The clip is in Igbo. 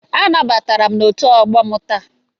Anabatara m na otu ọgbọ m taa.